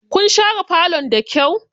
Kun share falon da kyau?